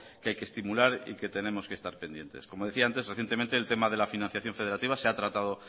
que hay que estimular y que tenemos que estar pendientes como decía antes recientemente el tema de la financiación federativa se ha tratado